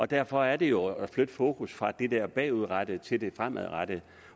derfor er det jo at flytte fokus fra det der bagudrettede til det fremadrettede